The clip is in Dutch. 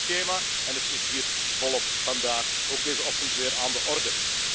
Dat is het schema, en het is hier volop vandaag, ook deze ochtend, weer aan de orde.